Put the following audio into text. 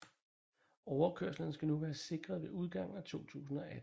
Overkørslerne skal nu være sikret ved udgangen af 2018